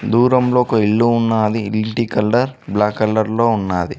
దూరంలోకి ఒక ఇల్లు ఉన్నది ఇంటి కలర్ బ్లాక్ కలర్ లో ఉన్నది.